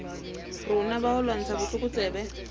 rona ba ho lwantsha botlokotsebe